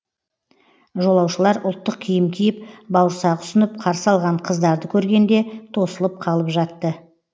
жолаушылар ұлттық киім киіп бауырсақ ұсынып қарсы алған қыздарды көргенде тосылып қалып жатты